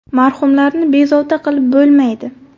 Marhumlarni bezovta qilib bo‘lmaydi.